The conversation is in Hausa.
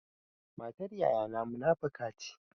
Matar yayana munafuka ce.